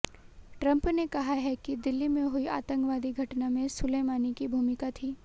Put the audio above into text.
Trump ने कहा है कि दिल्ली में हुई आतंकवादी घटना में सुलेमानी की भूमिका थी